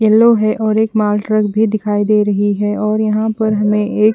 yellow है और एक माल ट्रक भी दिखाई दे रही है और यहां पर हमें एक--